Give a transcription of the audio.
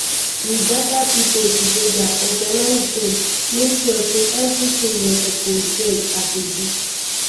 you gada pipo togeda organise dem make sure say evritin dem suppose get as a group